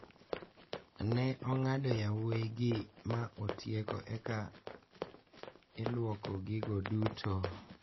Ne ong`ado yowuoyi gi ma otiek eka iluoko gigo duto.